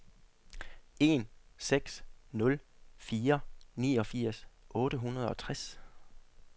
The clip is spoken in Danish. en seks nul fire niogfirs otte hundrede og tres